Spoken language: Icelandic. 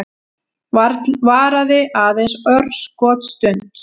Varaði aðeins örskotsstund.